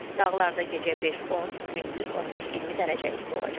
Dağlarda gecə 5-10, gündüz 15-20 dərəcə isti olacaq.